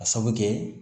A sabu kɛ